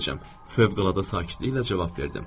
Fövqəladə sakitliklə cavab verdim.